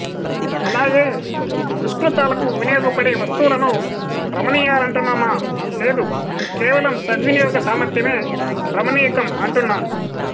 అలాగే దుష్కృతాలకు వినియోగపడే వస్తువులను రమణీయాలంటున్నామా లేదు కేవలం సద్వినియోగ సామర్ధ్యమే రామణీయకం అంటున్నాము